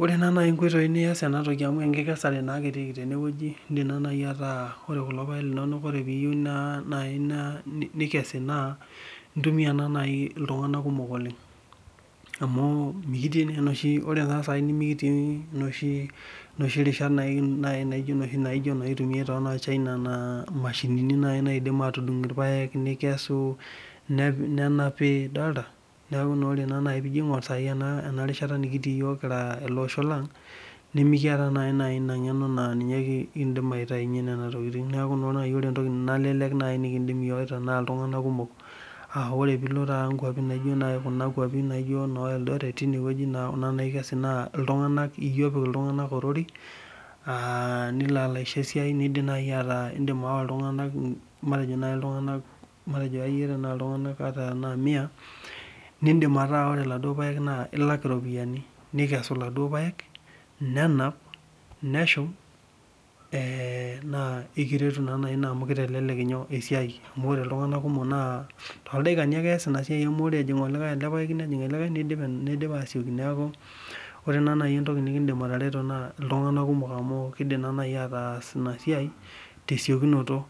Ore nai nkoitoi nias enatoki amu enkikesare ake etiiki tenewueji indim nai ataa ore kulo paek linonok teniyeiu nikesi na intumia ltunganak kumok oleng amu mikitii na oshi rishat naijo natumiai tonoo chaina na mashinini naidim atudung irpaek nekesi nenapi nijo aingur sai enarishata nikitii yiok kira olosho lang nimikiata inangeno na ninye kindim aitaunye nona tokitin aa ore nai piko nkwapi naijo kuna kwapi naijo no eldoret kuna kwapi na ltunganak milo aisho esiai indim nai ayawa matejo ltunganak mia nekesu laduo paek nenap neshum na ekiretu ina amu kitelelek esiai amu eas oltungani ele paeki nidim asioki neaku ore nai entoki nikidim arareto na ltunganak kumok amu kidim ataas esiai tesiokinoto